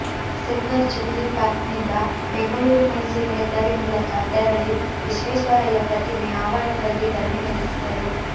silver jubilee ಪಾರ್ಕ್ನಿಂದ ಬೆಂಗಳೂರು ಮೈಸೂರು ಹೆದ್ದಾರಿ ಮೂಲಕ ತೆರಳಿ ವಿಶ್ವೇಶ್ವರಯ್ಯ ಪ್ರತಿಮೆ ಆವರಣದಲ್ಲಿ ಧರಣಿ ನಡೆಸಿದರು